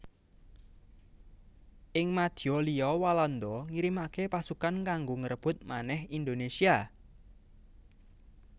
Ing madya liya Walanda ngirimaké pasukan kanggo ngrebut manèh Indonésia